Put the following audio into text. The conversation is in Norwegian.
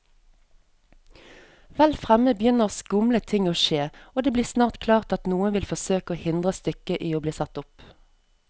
Vel fremme begynner skumle ting å skje, og det blir snart klart at noen vil forsøke å hindre stykket i bli satt opp.